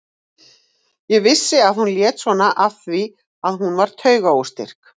Ég vissi að hún lét svona af því að hún var taugaóstyrk.